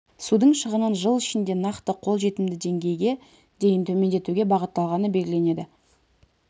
судың шығынын жыл ішінде нақты қол жетімді деңгейге дейін төмендетуге бағытталғаны белгіленеді